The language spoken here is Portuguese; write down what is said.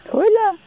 Foi lá.